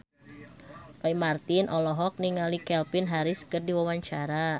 Roy Marten olohok ningali Calvin Harris keur diwawancara